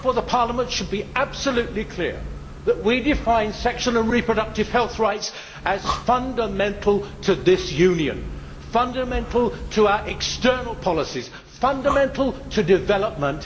Parliament should therefore be absolutely clear that we define sexual and reproductive health rights as fundamental to this Union, fundamental to our external policies, and fundamental to development.